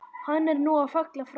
Hann er nú fallinn frá.